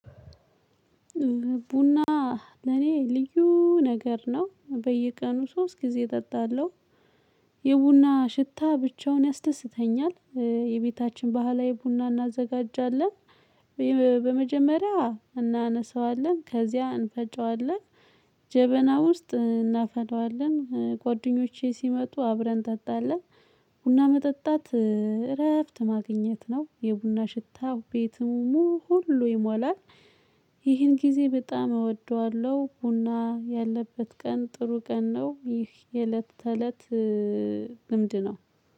ቡና ለኔ ልዩ ነገር ነው በየቀኑ ሶስት ጊዜ እጠጣለሁ። የቡና ሽታ ብቻውን ያስደስተኛል። የቤታችን ባህላዊ ቡና እናዘጋጃለን። በመጀመሪያ እናነሳዋለን ከዚያ እንፈጨዋለን። ጀበና ውስጥ እናፈለዋለን ጓደኞቼ ሲመጡ አብረን እንጠጣለን። ቡና መጠጣት እረፍት ማግኘት ነው የቡና ሽታ ቤቱን ሙሉ ይሟላል። ይህን ጊዜ በጣም እወደዋለሁ ቡና ያለበት ቀን ጥሩ ቀን ነው። ይህ የእለት ተለት ልምድ ነው።